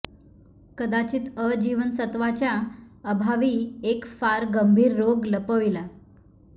कदाचित अ जीवनसत्वाच्या अभावी एक फार गंभीर रोग लपविला